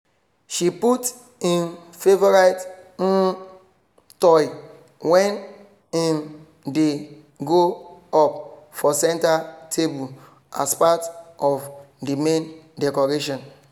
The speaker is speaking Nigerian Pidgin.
she put im favourite um toy when im dey grow up for centre table as parrt of the main decoration